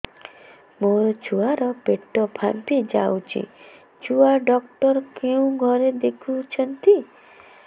ମୋ ଛୁଆ ର ପେଟ ଫାମ୍ପି ଯାଉଛି ଛୁଆ ଡକ୍ଟର କେଉଁ ଘରେ ଦେଖୁ ଛନ୍ତି